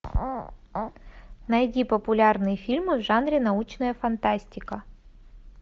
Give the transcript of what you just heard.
найди популярные фильмы в жанре научная фантастика